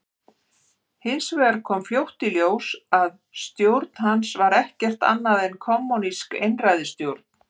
Hins vegar kom fljótt í ljós að stjórn hans var ekkert annað en kommúnísk einræðisstjórn.